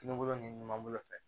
Tulukolo ni ɲuman bolo fɛ